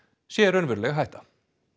sé raunveruleg hætta